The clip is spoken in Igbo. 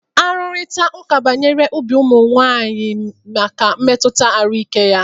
Arụrịta ụka banyere ibi úgwù ụmụ nwanyị maka mmetụta ahụike ya.